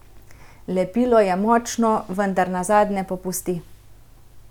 Lepilo je močno, vendar nazadnje popusti.